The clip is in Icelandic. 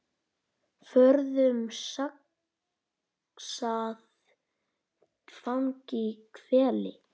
Forðum saxað fang í hvelli.